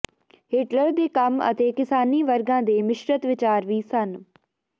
Hitler ਦੇ ਕੰਮ ਅਤੇ ਕਿਸਾਨੀ ਵਰਗਾਂ ਦੇ ਮਿਸ਼ਰਤ ਵਿਚਾਰ ਵੀ ਸਨ